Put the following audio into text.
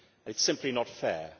It is simply not fair.